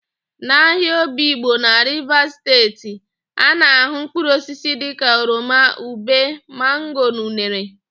N'ahịa Obigbo na Rivas Steeti,a na-ahụ mpkụrụosisi dịka oroma, ube, mango na unere.